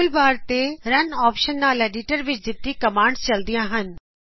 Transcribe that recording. toolbar ਤੋ run option ਨਾਲ editor ਵਿੱਚ ਦਿਤੀ ਕੋਮਾਂਡਚਲਦਿਆਂ ਹਨ